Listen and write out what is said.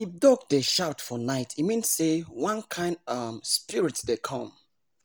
if dog dey shout for night e mean say one kind um spirit dey come